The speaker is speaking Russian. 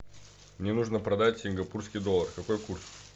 мне нужно продать сингапурский доллар какой курс